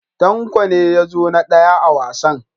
Tanko ne ya zo na daya a wasan.